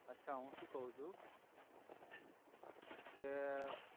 અછા હુ સુ કવ છુ કે